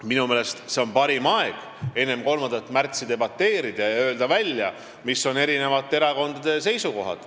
Minu meelest on parim aeg enne 3. märtsi debateerida ja öelda välja, mis on erakondade seisukohad.